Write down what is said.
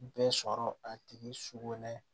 Bɛɛ sɔrɔ a tigi sogo nɛ